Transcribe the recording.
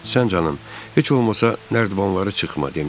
Sən canın, heç olmasa nərdivanları çıxma demişdi.